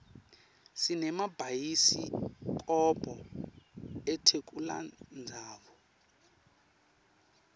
sinemabayisi kobho etelutsandvo